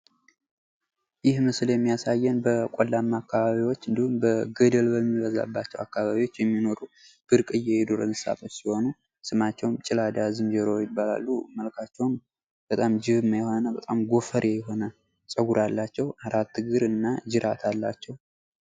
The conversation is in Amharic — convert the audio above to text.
ይህ ምስል የሚያሳየን በቆላማ አካባቢዎች እንዲሁም ገደል በሚበዛባቸው አካባቢወች የሚኖሩ ብርቅዬ የዱር እንሰሳቶች ሲሆኑ ስማችሀውም ጭላዳ ዝንጀሮ ይባላሉ። መልካቸውም በጣም ጅብማ የሆኑና በጣም ጎፈሬ የሆነ ጸጉር አላቸው። አራት እግር እና ጅራት አላቸው።